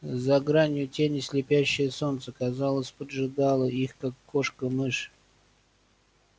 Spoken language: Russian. за гранью тени слепящее солнце казалось поджидало их как кошка мышь